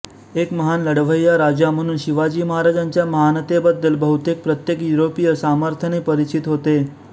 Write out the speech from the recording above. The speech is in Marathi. एक महान लढवय्या राजा म्हणून शिवाजी महाराजांच्या महानतेबद्दल बहुतेक प्रत्येक युरोपीय सामर्थ्याने परिचित होते